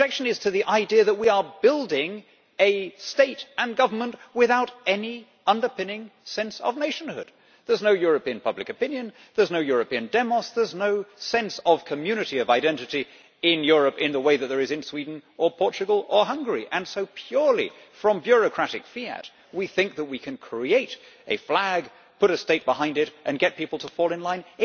It is to the idea that we are building a state and government without any underpinning sense of nationhood. There is no European public opinion, there is no European demos, there is no sense of community of identity in Europe in the way that there is in Sweden or Portugal or Hungary. So purely from bureaucratic fiat, we think that we can create a flag, put a state behind it and get people to fall in line.